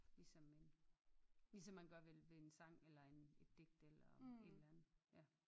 Ligesom en ligesom man gør ved en sang eller en et digt eller et eller andet ja